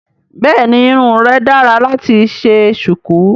Bẹ́ẹ̀ni irun rẹ dára láti ṣe ṣùkú